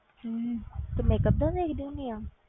ਹਮ ਤੂੰ makeup ਦਾ ਦੇਖਦੀ ਹੁੰਦੀ ਆਂ,